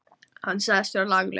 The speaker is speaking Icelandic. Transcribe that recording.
Hann sagðist vera laglaus.